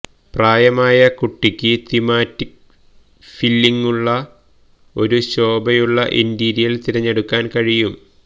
പ്രായമായ കുട്ടിക്ക് തീമാറ്റിക് ഫില്ലിങ്ങുള്ള ഒരു ശോഭയുള്ള ഇന്റീരിയർ തിരഞ്ഞെടുക്കാൻ കഴിയും